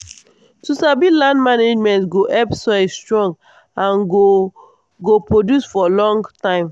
to sabi land management go help soil strong and go go produce for long time